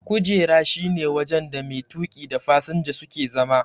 kujera shi ne wajen da mai tuki da fasinja suke zama.